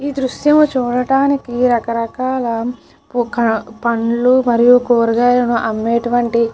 ఈ దృశ్యం చూడటానికి రకరకాల ఒక పండ్లు మరియు కూరగాయలు అమ్మేటటు వంటి --